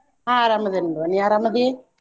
ಆಹ್ ಅರಾಮ್ ಅದೇನ್ ನೋಡ್ ನೀ ಅರಾಮ್ ಅದಿ?